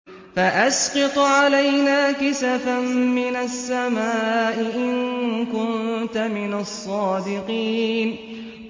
فَأَسْقِطْ عَلَيْنَا كِسَفًا مِّنَ السَّمَاءِ إِن كُنتَ مِنَ الصَّادِقِينَ